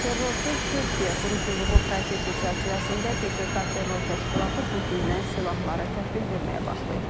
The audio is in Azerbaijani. Terrorsuz Türkiyə quruculuğu prosesi çərçivəsində PKK terror təşkilatı bu gündən silahları təhvil verməyə başlayıb.